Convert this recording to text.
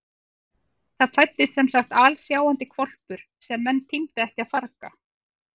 Það fæddist semsagt alsjáandi hvolpur sem menn tímdu ekki að farga.